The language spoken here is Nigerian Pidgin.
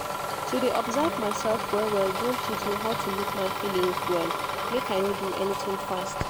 to de observe mysef well well don teach me how to look my feelings well make i no do anything fast